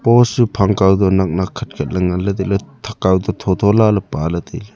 post chu phang kawto nak nak khatkhat ley nnganley tailey thak kawto thotho lala pala tailey.